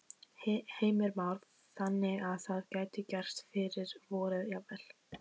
Heimir Már: Þannig að það gæti gerst fyrir vorið jafnvel?